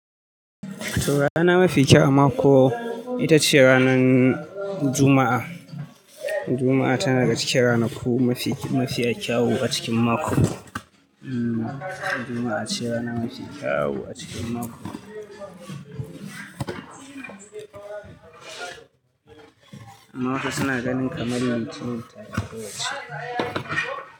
To rana mafi kyau a mako, ita ce ranan Juma'a, Juma'a tana daga cikin ranaku mafi, mafiya kyau a cikin mako. Hmm, Juma'a ce rana mafi kyawu a cikin mako. Amma wasu suna ganin kamar Litinin tafi ko wacce.